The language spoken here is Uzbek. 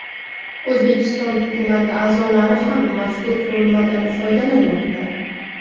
O‘zbekiston hukumati a’zolari ham mazkur qurilmadan foydalanmoqda .